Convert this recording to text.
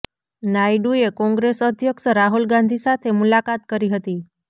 નાયડુએ કોંગ્રેસ અધ્યક્ષ રાહુલ ગાંધી સાથે મુલાકાત કરી હતી